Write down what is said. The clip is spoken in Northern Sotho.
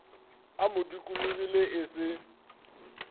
a mo dikologile e se